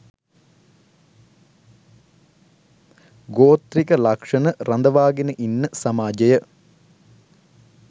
ගෝත්‍රික ලක්ෂණ රඳවාගෙන ඉන්න සමාජය